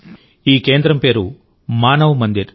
ఈ కేంద్రం పేరు మానవ్ మందిర్